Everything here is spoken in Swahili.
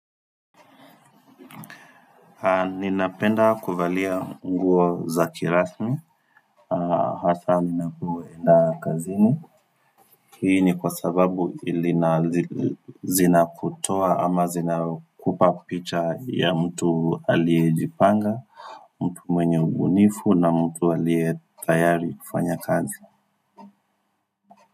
Ninapenda kuvalia nguo za kirasmi Hasa ninapoenda kazini Hii ni kwa sababu lina zinakutoa ama zinakupa picha ya mtu aliyejipanga mtu mwenye ubunifu na mtu aliye tayari kufanya kazi.